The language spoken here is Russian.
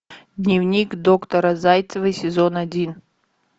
дневник доктора зайцевой сезон один